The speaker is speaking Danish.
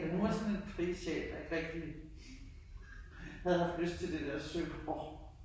Men hun var sådan en fri sjæl der ikke rigtig havde haft lyst til der der Søborg